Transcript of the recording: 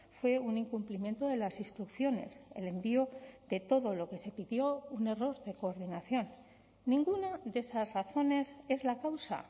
fue un incumplimiento de las instrucciones el envío de todo lo que se pidió un error de coordinación ninguna de esas razones es la causa